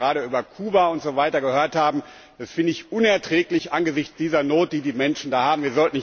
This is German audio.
Was wir da gerade über Kuba und so weiter gehört haben, das finde ich unerträglich angesichts dieser Not, die die Menschen da haben.